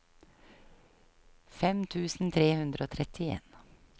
fem tusen tre hundre og trettien